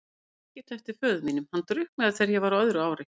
Ég man ekkert eftir föður mínum, hann drukknaði þegar ég var á öðru ári.